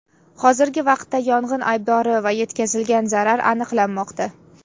Hozirgi vaqtda yong‘in aybdori va yetkazilgan zarar aniqlanmoqda.